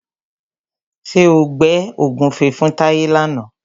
Ṣé o gbẹ́ ògúnfe fún Táyé làna?